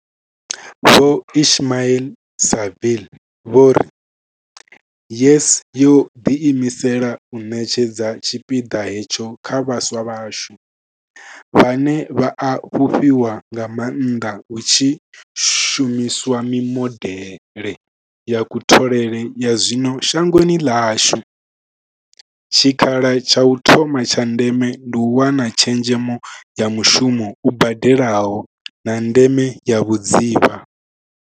Vho Ismail-Saville vho ri YES yo ḓiimisela u ṋetshedza tshipiḓa hetsho kha vhaswa vhashu, vhane vha a fhufhiwa nga maanḓa hu tshi shumi swa mimodeḽe ya kutholele ya zwino shangoni ḽashu, tshikha la tsha u thoma tsha ndeme ndi u wana tshezhemo ya mushumo u badelaho, na ndeme ya vhudzivha.